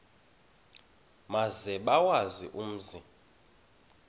maze bawazi umzi